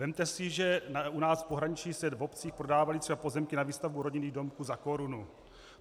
Vezměte si, že u nás v pohraničí se v obcích prodávaly třeba pozemky na výstavbu rodinných domků za korunu.